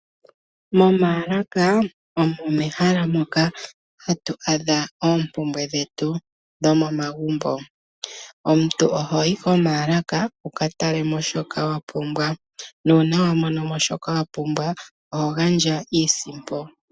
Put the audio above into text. Momaalaka omo mehala moka hatu adha oompumbwe dhetu dhomomagumbo. Omuntu ohoyi komaalaka wu ka tale mo shoka wa pumbwa. Nuuna wa mono mo shoka wa pumbwa oho gandja iisimpo.